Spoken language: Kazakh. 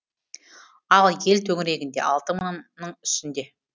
ал ел төңірегінде алты мыңның үстінде